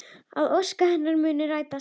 Að ósk hennar muni rætast.